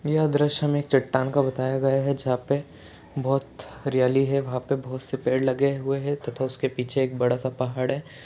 यह द्रश्य हमे चट्टान का बताया गया है जहाँ पे बहुत हरियाली है वहाँ पे बहुत से पेड़ लगे हुए है तथा उसके पीछे एक बड़ा सा पहाड़ है।